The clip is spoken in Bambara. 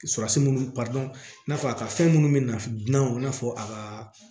Surasi munnu i n'a fɔ a ka fɛn munnu bɛ naf dunanw i n'a fɔ a ka